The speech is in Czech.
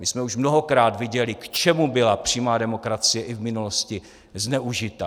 My jsme už mnohokrát viděli, k čemu byla přímá demokracie i v minulosti zneužita.